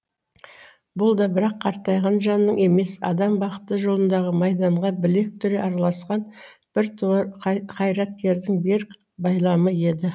бұл да бірақ қартайған жанның емес адам бақыты жолындағы майданға білек түре араласқан біртуар қайраткердің берік байламы еді